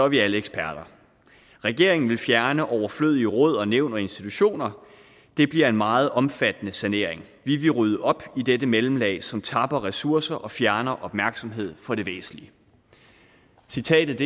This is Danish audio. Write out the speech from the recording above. vi alle eksperter regeringen vil fjerne overflødige råd og nævn og institutioner det bliver en meget omfattende sanering vi vil rydde op i dette mellemlag som tapper ressourcer og fjerner opmærksomhed fra det væsentlige citatet